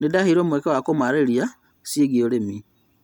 Nĩndaheirwo mweke wa kũmarĩria ciĩgiĩ ũrĩmi